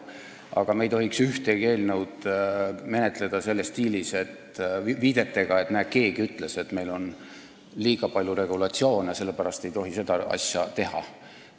Aga me ei tohiks ühtegi eelnõu menetleda selles stiilis viidete abil, et näe, keegi ütles, et meil on liiga palju regulatsioone, sellepärast ei tohi seda asja teha.